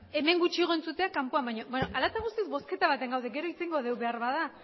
hemen gutxiago entzutea kanpoan baino hala eta guztiz bozketa batean gaude gero hitz egingo dugu behar bada